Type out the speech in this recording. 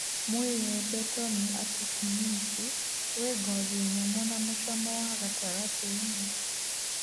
Mũĩembe tomi atikinisi wĩ ngothi nyũmũ na mũcamo wa gatagatĩ-inĩ